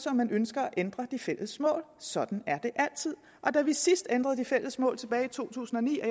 om man ønsker at ændre de fælles mål sådan er det altid og da vi sidst ændrede de fælles mål tilbage i to tusind og ni og